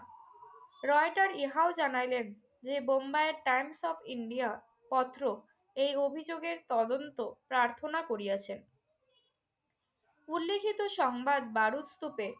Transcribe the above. Reuter ইহাও জানাইলেন যে বোম্বাইয়ের টাইমস অফ ইন্ডিয়া পত্র এই অভিযোগের তদন্ত প্রার্থনা করিয়াছেন। উল্লিখিত সংবাদ বারুদস্তুপে